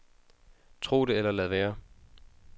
Tro det eller lad være.